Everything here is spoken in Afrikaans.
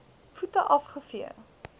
voete af gevee